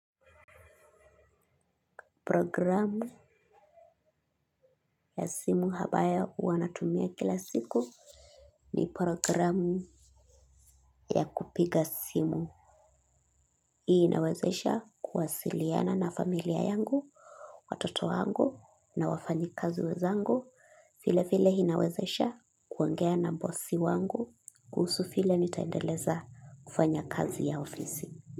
Programu ya simu habaya uwanatumia kila siku ni programu ya kupiga simu. Hii inawezesha kuwasiliana na familia yangu, watoto wangu na wafanyikazi wezangu. File file inawezesha kuangea na bossi wangu. Kuusu file nitaendeleza kufanya kazi ya ofisi.